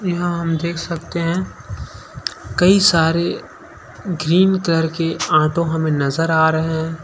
यहाँ हम देख सकते हैं कई सारे ग्रीन करके ऑटो हमें नज़र आ रहे हैं।